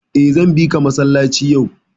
Eh, zan bika masallaci yau.